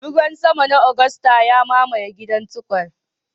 Ruwan sama na Agusta ya mamaye gidan Tukur.